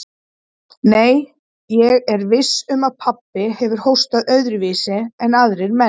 Nei, ég er viss um að pabbi hefur hóstað öðruvísi en aðrir menn.